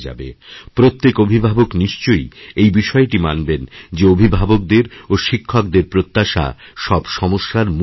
প্রত্যেক অভিভাবক নিশ্চয় এই বিষয়টি মানবেন যে অভিভাবকদের ও শিক্ষকদেরপ্রত্যাশা সব সমস্যার মূল কারণ